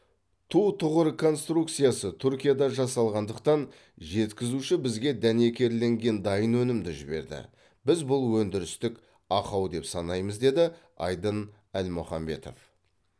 ту тұғыр конструкциясы түркияда жасалғандықтан жеткізуші бізге дәнекерленген дайын өнімді жіберді біз бұл өндірістік ақау деп санаймыз деді айдын альмұхаметов